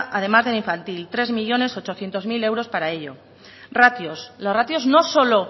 además de en infantil tres millónes ochocientos mil euros para ello ratios los ratios no solo